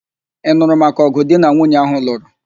Ị nụrụ maka ọ̀gụ̀ di na nwunye áhụ̀ lụrụ?